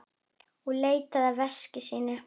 Og leitaði að veski sínu.